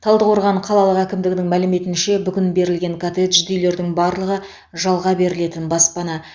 талдықорған қалалық әкімдігінің мәліметінше бүгін берілген коттеджді үйлердің барлығы жалға берілетін баспана